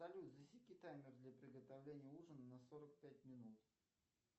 салют засеки таймер для приготовления ужина на сорок пять минут